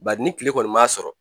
Bari ni kile kɔni m'a sɔrɔ